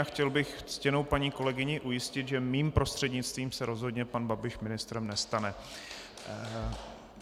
A chtěl bych ctěnou paní kolegyni ujistit, že mým prostřednictvím se rozhodně pan Babiš ministrem nestane.